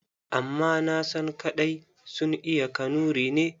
Amma nasan kaɗai sun iya Kanuri ne.